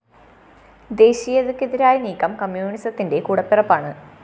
ദേശീയതക്കെതിരായ നീക്കം കമ്മ്യൂണിസത്തിന്റെ കൂടപിറപ്പാണ്